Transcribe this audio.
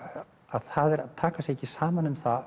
það er að taka sér ekki saman um það